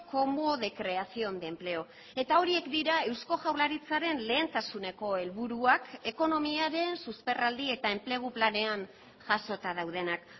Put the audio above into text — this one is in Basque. como de creación de empleo eta horiek dira eusko jaurlaritzaren lehentasuneko helburuak ekonomiaren susperraldi eta enplegu planean jasota daudenak